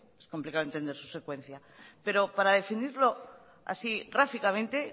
es complicado entender su secuencia pero para definirlo así gráficamente